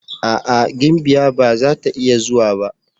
A'a! gimbiya ba zata iya zuwa ba.